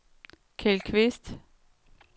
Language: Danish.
Keld Kvist